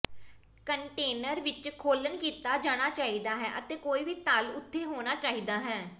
container ਵਿੱਚ ਖੋਲਣ ਕੀਤਾ ਜਾਣਾ ਚਾਹੀਦਾ ਹੈ ਅਤੇ ਕੋਈ ਵੀ ਤਲ ਉੱਥੇ ਹੋਣਾ ਚਾਹੀਦਾ ਹੈ